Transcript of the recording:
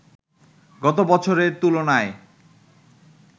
গত বছরের তুলনায়